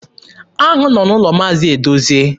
Aṅụ nọ n'ụlọ Maazi Edozie.